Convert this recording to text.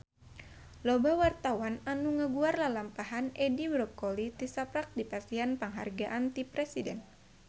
Loba wartawan anu ngaguar lalampahan Edi Brokoli tisaprak dipasihan panghargaan ti Presiden